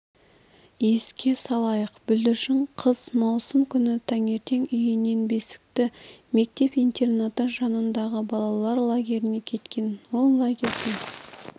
еске салайық бүлдіршін қыз маусым күні таңертең үйінен бесікті мектеп-интернаты жанындағы балалар лагеріне кеткен ол лагерьден